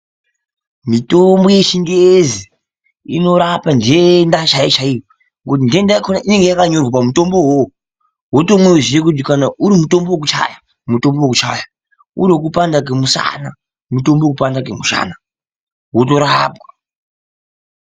Mitombo hechingezi inorapa ndenda chaiyo chaiyo. Ngekuti ndenda yakona inenge yakanyorwa pamutombo iwowo. Wotonyorezve kuzi kana urimutombo wekuchaya ,mutombo wekuchaya uri wekupanda kwemushana ,ngewekupanda kwemushana wotorapa.